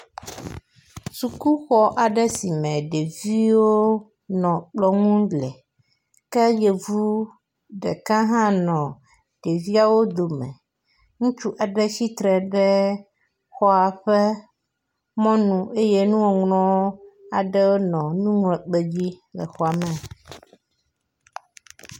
sukuxɔ aɖe sime ɖeviwo nɔ kplɔŋu le ke yevu ɖeka ha nɔ ɖeviawo dome ŋutsu aɖe tsitre ɖe xɔa ƒe mɔnu eye nuŋɔŋlɔ aɖe nɔ nuŋlɔ kpedzi le xɔme